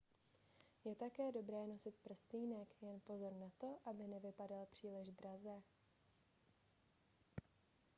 je také dobré nosit prstýnek jen pozor na to aby nevypadal příliš draze